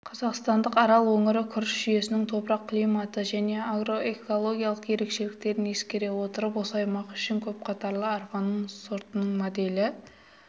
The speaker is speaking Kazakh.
қазақстандық арал өңірі күріш жүйесінің топырақ-климаттық және агроэкологиялық ерекшеліктерін ескере отырып осы аймақ үшін көпқатарлы арпа сортының моделі